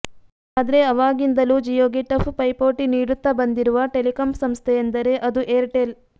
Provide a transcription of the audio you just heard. ಆದ್ರೆ ಅವಾಗಿಂದಲೂ ಜಿಯೋಗೆ ಟಫ್ ಪೈಪೋಟಿ ನೀಡುತ್ತಾ ಬಂದಿರುವ ಟೆಲಿಕಾಂ ಸಂಸ್ಥೆಯೆಂದರೇ ಅದು ಏರ್ಟೆಲ್